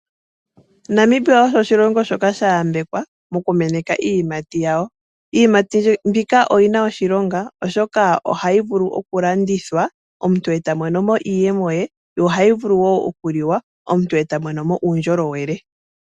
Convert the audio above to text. Namibia osho oshilongo shoka sha yambekwa, moku meneka iiyimati yawo. Iiyimati mbika oyina oshilonga, oshoka ohayi vulu okulandithwa, omuntu e tamonomo iiyemo ye, yo ohayi vulu okuliwa, omuntu e tamonomo uundjolowele.